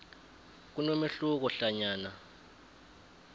kunomehluko hlanyana